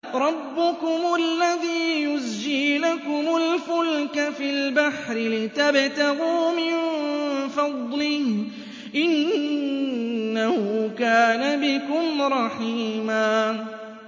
رَّبُّكُمُ الَّذِي يُزْجِي لَكُمُ الْفُلْكَ فِي الْبَحْرِ لِتَبْتَغُوا مِن فَضْلِهِ ۚ إِنَّهُ كَانَ بِكُمْ رَحِيمًا